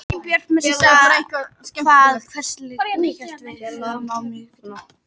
Elínbjörg, manstu hvað verslunin hét sem við fórum í á miðvikudaginn?